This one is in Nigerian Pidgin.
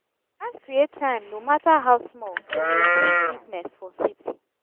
we gats create time no matter how small to maintain fitness for city.